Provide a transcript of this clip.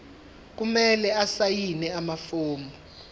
kumele asayine amafomu